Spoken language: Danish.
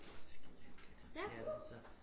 Det skidehyggeligt det er det altså